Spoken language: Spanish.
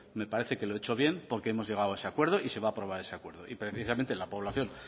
me parece que lo he hecho bien porque hemos llegado a ese acuerdo y se va aprobar ese acuerdo y precisamente la población